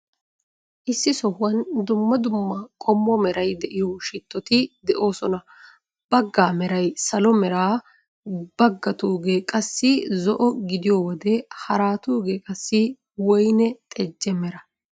Issi sohuwan dumma dumma qommo meray de'iyo shittoti de'oosona. Baggaa meray salo mera, baggatuugee qassi zo'o gidiyo wode haratugee qassi woyne xejje mera.